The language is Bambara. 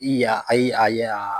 I ya ayi a ye yaaaa.